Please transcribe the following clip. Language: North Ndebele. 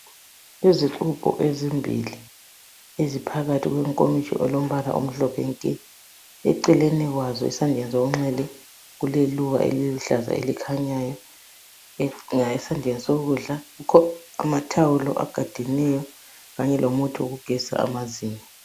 Izixubho ezimbili eziphakathi kwenkomitsho elombala omhlophe nke. Eceleni kwazo esandleni sokunxele kuleluba eliluhlaza elikhanyayo ,nga esandleni sokudla kukho amathawulo agadeneyo Kanye lomuthi wokugezisa amazinyo.